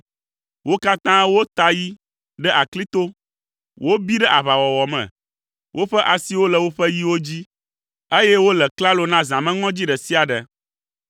Wo katã wota yi ɖe aklito, wobi ɖe aʋawɔwɔ me, woƒe asiwo le woƒe yiwo dzi, eye wole klalo na zãmeŋɔdzi ɖe sia ɖe.